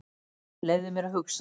Leyfðu mér að hugsa.